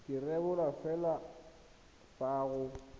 ka rebolwa fela fa go